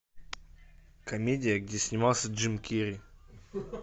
комедия где снимался джим керри